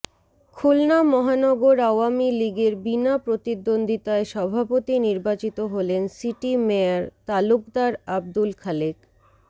খুলনা মহানগর আওয়ামী লীগের বিনা প্রতিদ্বন্দ্বিতায় সভাপতি নির্বাচিত হলেন সিটি মেয়র তালুকদার আবদুল খালেক